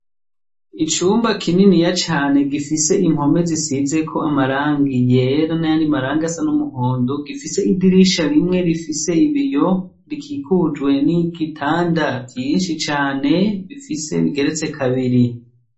Icumba kininiya cane gifise impome zisizeko amarangi yera n'ayandi marangi asa n'umuhondo, gifise idirisha rimwe rifise ibiyo, rikikujwe n'ibitanda vyinshi cane, bigeretse kabiri.